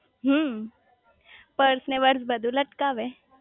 હમ્મ purse ને brush બધું લટકાવે